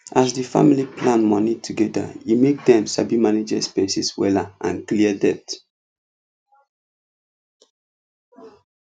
as the family plan money together e make them sabi manage expenses wella and clear debt